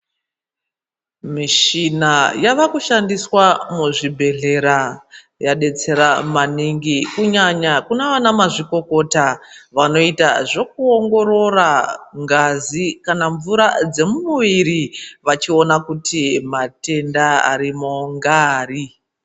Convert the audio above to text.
Mushina yavakushandiswa muzvibhedhlera iri kudetsera maningi kunyanya kunana mazvikokota anoita zvekuongorora ngazi kana mvura dzemuviri vachiona kuti matenda arimo ndeari.